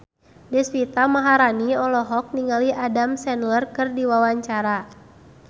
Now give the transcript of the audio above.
Deswita Maharani olohok ningali Adam Sandler keur diwawancara